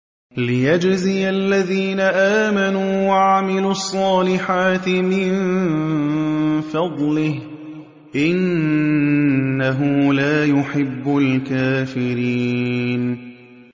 لِيَجْزِيَ الَّذِينَ آمَنُوا وَعَمِلُوا الصَّالِحَاتِ مِن فَضْلِهِ ۚ إِنَّهُ لَا يُحِبُّ الْكَافِرِينَ